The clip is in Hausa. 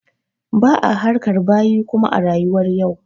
Ba'a harkar bayi kuma a rayuwar yau.